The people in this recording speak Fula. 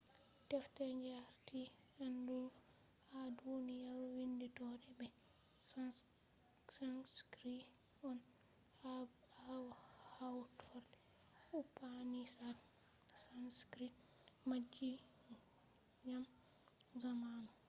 deftere je arti aandugu ha duniyaru windotto be sanskrit on. ha ɓawo hawtorde upanishads sanskrit majji ngam zamanu